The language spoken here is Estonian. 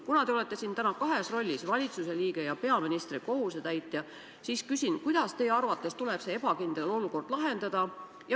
Kuna te olete siin täna kahes rollis, valitsuse liige ja peaministri kohusetäitja, siis küsin, kuidas teie arvates tuleb see ebakindel olukord lahendada.